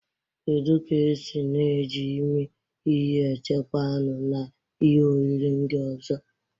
Kedu ka esi na-eji imi ihe echekwaa anụ na ihe oriri ndị ọzọ?